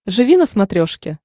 живи на смотрешке